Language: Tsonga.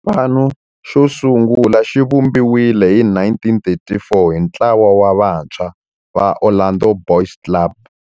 Xipano xo sungula xivumbiwile hi 1934 hi ntlawa wa vantshwa va Orlando Boys Club.